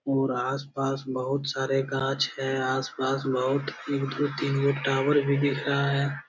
और आस-पास बहुत सारे काँच है आस-पास बहुत एक दू तीनगो टावर भी दिख रहा है ।